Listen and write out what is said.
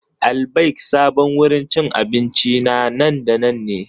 Al-Baik sabon wurin cin abinci na nan da nan ne.